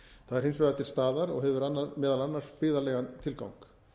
það er hins vegar til staðar og hefur meðal annars byggðalegan tilgang